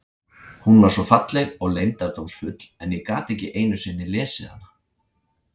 Hún var svo falleg og leyndardómsfull en ég gat ekki einu sinni lesið hana.